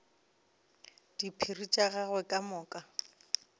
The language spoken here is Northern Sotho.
diphiri tša gagwe ka moka